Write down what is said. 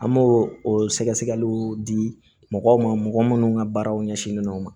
An b'o o sɛgɛsɛgɛliw di mɔgɔw ma mɔgɔ minnu ka baaraw ɲɛsinnen don o ma